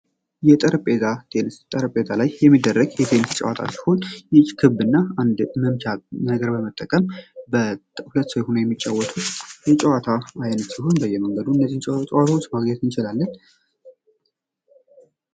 የጠረጴዛ ቴኒስ ከላይ የሚደረግ የቴኒስ ጨዋታዎች ይች ክብ እና አንድ መምቻ ነገር በመጠቀም በሁለት ሰው ሆነው የሚጫወቱ ጨዋታዎች አይነት ሲሆን በየመንገዱ ጨዋታዎች ማግኘት እንችላለን።